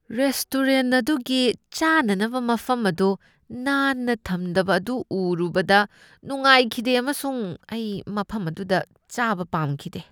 Restaurant ꯑꯗꯨꯒꯤ ꯆꯥꯅꯅꯕ ꯃꯐꯝ ꯑꯗꯨ ꯅꯥꯟꯅ ꯊꯝꯗꯕ ꯑꯗꯨ ꯎꯔꯨꯕꯗ ꯅꯨꯡꯉꯥꯏꯈꯤꯗꯦ ꯑꯃꯁꯨꯡ ꯑꯩ ꯃꯐꯝ ꯑꯗꯨꯗ ꯆꯥꯕ ꯄꯥꯝꯈꯤꯗꯦ ꯫